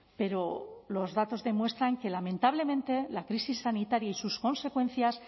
pero los datos demuestran que lamentablemente la crisis sanitaria y sus consecuencias